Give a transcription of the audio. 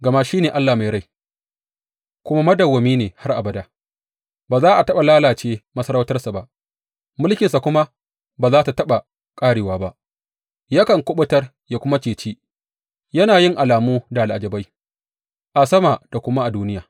Gama shi ne Allah mai rai kuma madawwami ne har abada; ba za a taɓa lalace masarautarsa ba, mulkinsa kuma ba za tă taɓa ƙarewa ba Yakan kuɓutar ya kuma ceci; yana yin alamu da al’ajabai a sama da kuma a duniya.